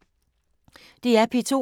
DR P2